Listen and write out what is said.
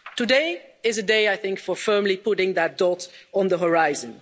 Today is a day, I think, for firmly putting that dot on the horizon.